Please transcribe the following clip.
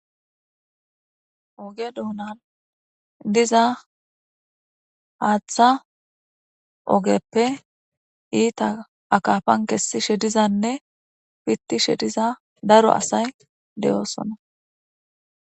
Oge duunan diza haaththa ogepe iita kesishe diza asatidoosona